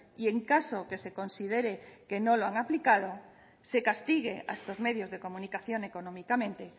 y en caso que se considere que no lo han aplicado se castigue a estos medios de comunicación económicamente